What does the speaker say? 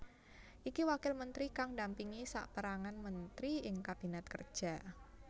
Iki wakil menteri kang ndampingi saperangan menteri ing Kabinet Kerja